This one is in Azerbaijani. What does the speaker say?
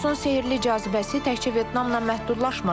Lotusun sehrli cazibəsi təkcə Vyetnamla məhdudlaşmır.